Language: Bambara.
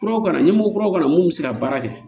Kuraw kana na ɲɛmɔgɔ kuraw ka na mun bɛ se ka baara kɛ